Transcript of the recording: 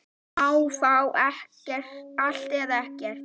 Má fá allt, eða ekkert.